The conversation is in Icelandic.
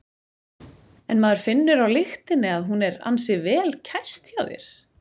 En maður finnur á lyktinni að hún er ansi vel kæst hjá þér?